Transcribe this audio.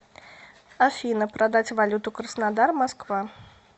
афина продать валюту краснодар москва